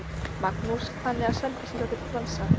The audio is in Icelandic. Magnús: Þannig að Selfyssingar geta dansað?